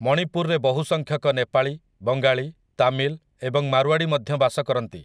ମଣିପୁରରେ ବହୁସଂଖ୍ୟକ ନେପାଳୀ, ବଙ୍ଗାଳୀ, ତାମିଲ୍ ଏବଂ ମାରୱାଡ଼ୀ ମଧ୍ୟ ବାସ କରନ୍ତି ।